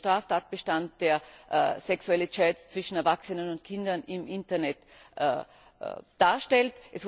Es gibt einen Straftatbestand, der sexuelle Chats zwischen Erwachsenen und Kindern im Internet darstellt.